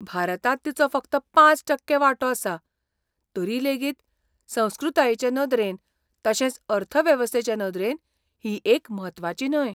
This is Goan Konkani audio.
भारतांत तिचो फकत पांच टक्के वांटो आसा, तरी लेगीत संस्कृतायेचे नदरेन, तशेंच अर्थवेवस्थेचे नदरेन ही एक म्हत्वाची न्हंय.